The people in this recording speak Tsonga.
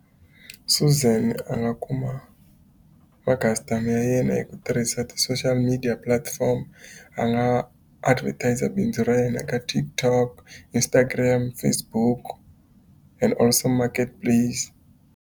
Suzan a nga kuma ma-customer ya yena hi ku tirhisa ti-social media platform, a nga advertiser bindzu ra yena ka TikTok, Instagram, Facebook and Marketplace.